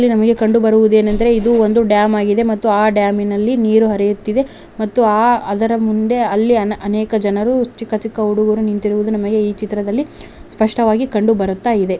ಇಲ್ಲಿ ನಮಗೆ ಕಂಡುಬರುವುದೇನೆಂದರೆ ಇದೊಂದು ಡ್ಯಾಮ್ ಆಗಿದೆ ಮತ್ತೆ ಡ್ಯಾಮ್ ನಲ್ಲಿ ನೀರು ಹರಿಯುತ್ತಿದೆ ಅದರ ಮುಂದೆ ಅನೇಕ ಜನರು ಚಿಕ್ಕ ಚಿಕ್ಕ ಹುಡುಗರು ನಿಂತಿರುವುದು ಚಿತ್ರದಲ್ಲಿ ಸ್ಪಷ್ಟವಾಗಿ ಕಂಡುಬರುತ್ತದೆ.